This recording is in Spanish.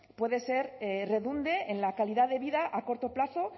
pueden ser que redunde en la calidad de vida a corto plazo